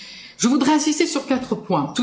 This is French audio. Je voudrais insister sur quatre points.